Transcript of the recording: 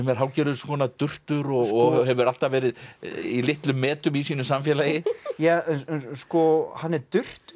er hálfgerður durtur og hefur alltaf verið í litlum metum í sínu samfélagi hann er